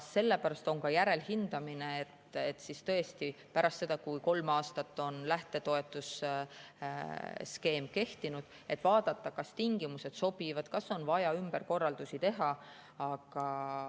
Sellepärast on ka järelhindamine, et pärast seda, kui kolm aastat on lähtetoetuse skeem kehtinud, vaadata, kas tingimused sobivad, kas on vaja ümberkorraldusi teha.